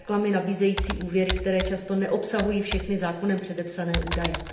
reklamy nabízející úvěry, které často neobsahují všechny zákonem předepsané údaje.